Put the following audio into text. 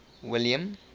william